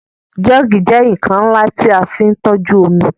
Joogi jẹ́ nkan nla ti a fin toju omi